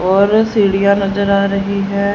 और सीढ़ियां नजर आ रही है।